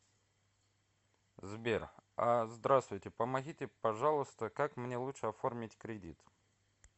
сбер а здравствуйте помогите пожалуйста как мне лучше оформить кредит